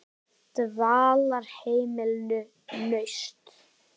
Dvalarheimilinu Nausti